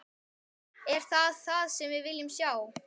Er það það sem við viljum sjá?